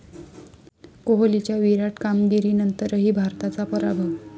कोहलीच्या 'विराट' कामगिरीनंतरही भारताचा पराभव